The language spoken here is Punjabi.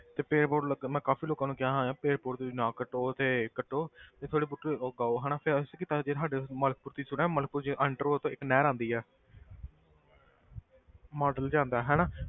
ਤੇ ਪੇੜ੍ਹ ਪੂੜ੍ਹ ਲੱਗਣ ਮੈਂ ਕਾਫ਼ੀ ਲੋਕਾਂ ਨੂੰ ਕਿਹਾ ਹੋਇਆ ਪੇੜ੍ਹ ਪੌਦੇ ਤੁਸੀਂ ਨਾ ਕੱਟੋ ਤੇ ਕੱਟੋ ਤੇ ਫਿਰ ਬੂਟੇ ਉਗਾਓ ਹਨਾ ਫਿਰ ਅਸੀਂ ਕਿੱਦਾਂ ਜੇ ਸਾਡੇ ਮਲਕਪੁਰ ਤੁਸੀਂ ਸੁਣਿਆ ਮਲਕਪੁਰ 'ਚ enter ਹੋਵੋ ਤੇ ਇੱਕ ਨਹਿਰ ਆਉਂਦੀ ਆ model ਜਿਹਾ ਆਉਂਦਾ ਹਨਾ,